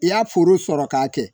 I y'a foro sɔrɔ k'a kɛ